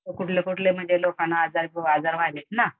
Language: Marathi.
कुठले कुठले लोकांना आजार व्हायलेत ना